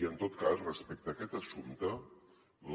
i en tot cas respecte a aquest assumpte